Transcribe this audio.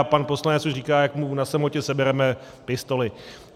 A pan poslanec už říká, jak mu na samotě sebereme pistoli.